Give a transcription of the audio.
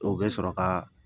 O bɛ sɔrɔ ka